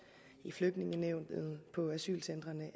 i flygtningenævnet og på asylcentrene